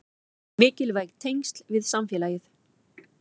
Mikilvæg tengsl við samfélagið